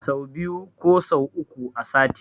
Sau biyu ko sau uku a sati